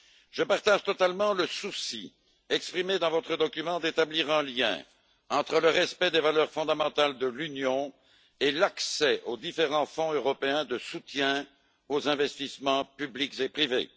Je partage totalement le souci exprimé dans votre document d'établir un lien entre le respect des valeurs fondamentales de l'Union et l'accès aux différents fonds européens de soutien aux investissements publics et privés.